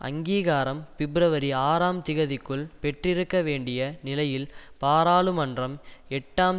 அங்கீகாரம் பிப்ரவரி ஆறாம் திகதிக்குள் பெற்றிருக்க வேண்டிய நிலையில் பாராளுமன்றம் எட்டாம்